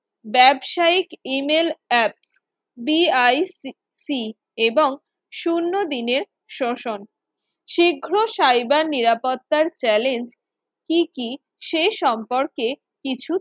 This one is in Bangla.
ব্যবসায়িক email App BIC এবং শূন্য দিনের শোষণ শীঘ্র cyber নিরাপত্তা চ্যালেঞ্জ কি কি সে সম্পর্কে কিছু